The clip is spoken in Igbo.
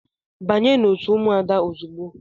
Banye n'otu ụmụada ozugbo!